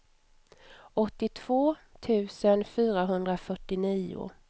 åttiotvå tusen fyrahundrafyrtionio